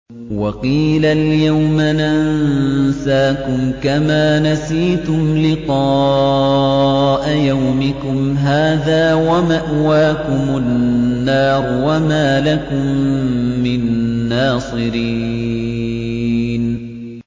وَقِيلَ الْيَوْمَ نَنسَاكُمْ كَمَا نَسِيتُمْ لِقَاءَ يَوْمِكُمْ هَٰذَا وَمَأْوَاكُمُ النَّارُ وَمَا لَكُم مِّن نَّاصِرِينَ